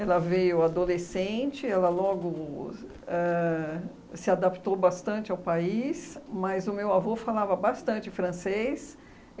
Ela veio adolescente, ela logo ãh se adaptou bastante ao país, mas o meu avô falava bastante francês.